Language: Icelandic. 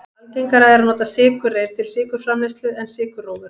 algengara er að nota sykurreyr til sykurframleiðslu en sykurrófur